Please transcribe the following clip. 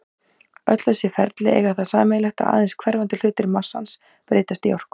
Öll þessi ferli eiga það sameiginlegt að aðeins hverfandi hluti massans breytist í orku.